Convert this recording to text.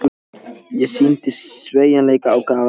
LANDSHÖFÐINGI: Ég sýndi sveigjanleika og gaf eftir.